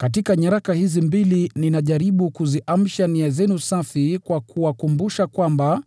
Katika nyaraka hizi mbili ninajaribu kuziamsha nia zenu safi kwa mawazo makamilifu.